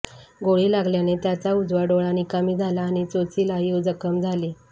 गोळी लागल्याने त्याचा उजवा डोळा निकामी झाला आणि चोचीलाही जखम झाली